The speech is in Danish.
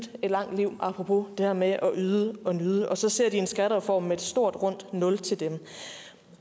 et langt liv apropos det her med at yde og nyde og så ser de en skattereform med et stort rundt nul til dem